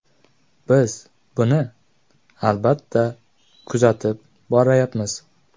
Biz buni albatta kuzatib borayapmiz.